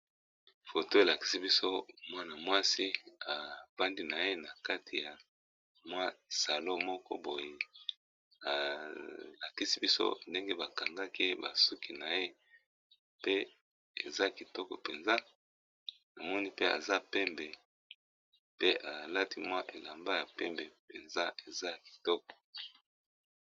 Photo elakisi biso mwana mwasi afandi naye na kati ya salon moko boye alakisi biso ndenge ba kangaki suki naye pe eza kitoko penza tomoni aza pembe pe alati elamba ya langi ya pembe.